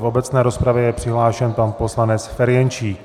V obecné rozpravě je přihlášen pan poslanec Ferjenčík.